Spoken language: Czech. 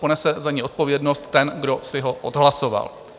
Ponese za něj odpovědnost ten, kdo si ho odhlasoval.